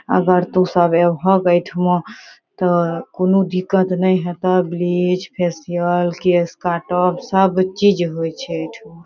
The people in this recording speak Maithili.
अगर तू सब ऐभक एठामा ते कुनु दिक्कत ने हेता ब्लीच फेशियल केश काटब सब चीज होय छै एठामा।